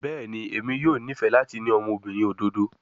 Bẹẹni, Emi yoo nifẹ lati ni ọmọbirin ododo